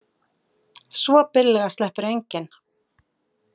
Svo billega sleppur enginn.